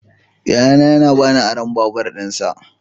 Yayana ya ba ni aron babur dinsa.